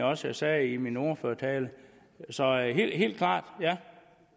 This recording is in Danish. også jeg sagde i min ordførertale så helt klart ja